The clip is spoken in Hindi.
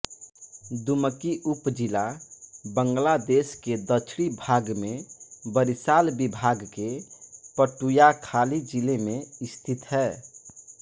दुमकी उपजिला बांग्लादेश के दक्षिणी भाग में बरिशाल विभाग के पटुय़ाखाली जिले में स्थित है